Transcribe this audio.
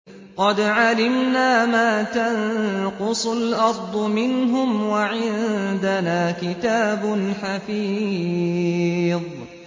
قَدْ عَلِمْنَا مَا تَنقُصُ الْأَرْضُ مِنْهُمْ ۖ وَعِندَنَا كِتَابٌ حَفِيظٌ